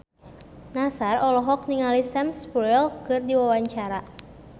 Nassar olohok ningali Sam Spruell keur diwawancara